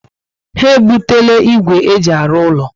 Ha ebutela ígwè e ji arụ úlọ